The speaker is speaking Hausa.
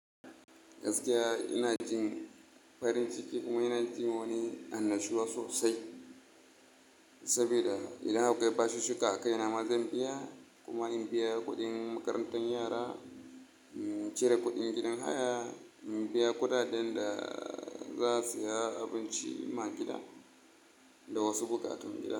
Gaskiya ina jin farin ciki kuma ina jin wani annashuwa sosai saboda idan akwai bashushshika a kai nama zan biya kuma in biya kuɗin makarantar yara, in cire kuɗin gidan haya, in biya kuɗaɗen da za a saya abinci ma gida da wasu buƙatun gida.